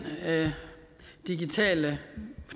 digitale